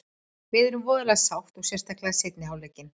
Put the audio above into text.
Við erum voðalega sátt og sérstaklega seinni hálfleikinn.